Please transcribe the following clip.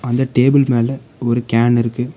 அந்த டேபிள் மேல ஒரு கேன் இருக்கு.